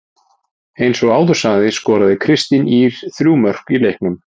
Eins og áður sagði skoraði Kristín Ýr þrjú mörk í leiknum.